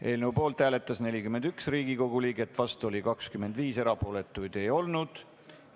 Eelnõu poolt hääletas 41 Riigikogu liiget, vastuolijaid 25, erapooletuid ei olnud.